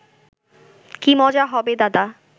কি মজা হবে দাদা